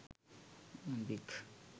gun pic